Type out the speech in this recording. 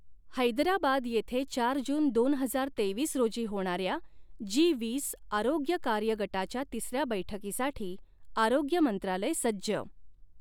हैदराबाद येथे चार जून दोन हजार तेवीस रोजी होणाऱ्या जी वीस आरोग्य कार्य गटाच्या तिसऱ्या बैठकीसाठी आरोग्य मंत्रालय सज्ज